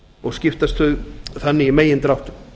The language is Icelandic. og skiptast þau þannig í megindráttum